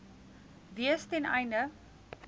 wees ten einde